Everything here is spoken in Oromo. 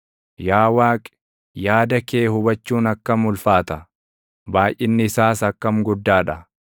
Yaa Waaqi, yaada kee hubachuun akkam ulfaata! Baayʼinni isaas akkam guddaa dha!